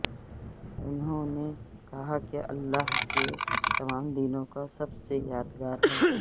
انہوں نے کہا کہ اللہ کے تمام دنوں کا سب سے یادگار ہے